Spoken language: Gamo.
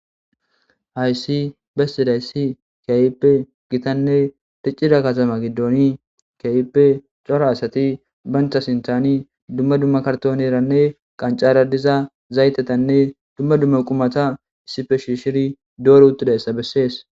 Haysi bessidayssi kiayipe gitanne riccida katama giddoni kayipe cora asati bancha sintani dumma dumma karton eranne qancara diza zaytetanne dumma dumma qumata issife shi shiri doori uttudayssa bessees